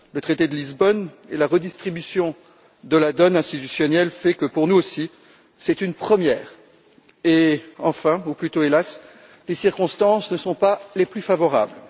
Le traité de Lisbonne et la redistribution de la donne institutionnelle font que, pour nous aussi, c'est une première. Enfin, ou plutôt hélas, les circonstances ne sont pas les plus favorables.